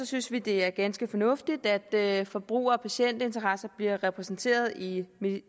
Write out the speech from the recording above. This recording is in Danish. synes vi det er ganske fornuftigt at forbruger og patientinteresser bliver repræsenteret i